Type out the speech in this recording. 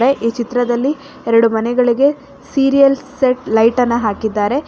A ಈ ಚಿತ್ರದಲ್ಲಿ ಎರಡು ಮನೆಗಳಿಗೆ ಸೀರಿಯಲ್ ಸೆಟ್ ಲೈಟನ್ನ ಹಾಕಿದ್ದಾರೆ.